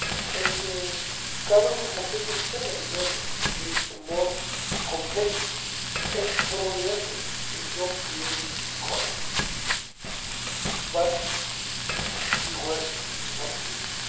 and the government has taken several measures to create a more competitive, export-oriented and job-creating economy. But the work is not finished.